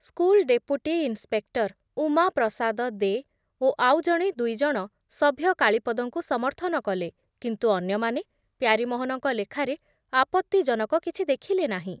School deputy inspector Umaprasad De ଓ ଆଉ ଜଣେ ଦୁଇଜଣ ସଭ୍ୟ କାଳୀପଦଙ୍କୁ ସମର୍ଥନ କଲେ, କିନ୍ତୁ ଅନ୍ୟମାନେ ପ୍ୟାରୀମୋହନଙ୍କ ଲେଖାରେ ଆପତ୍ତିଜନକ କିଛି ଦେଖିଲେ ନାହିଁ ।